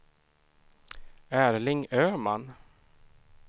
Erling Öhman